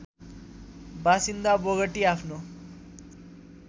बासिन्दा बोगटी आफ्नो